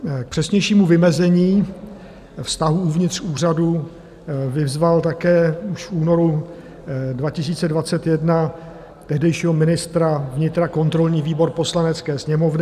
K přesnějšímu vymezení vztahů uvnitř úřadu vyzval také už v únoru 2021 tehdejšího ministra vnitra kontrolní výbor Poslanecké sněmovny.